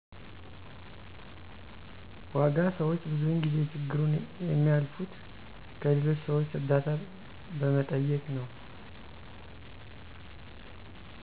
ዋጋ ሰዎች ብዙውን ጊዜ ችግሩን የሚያልፉት ከሌሎች ሰዎች እርዳታ በመጠየቅ ነው።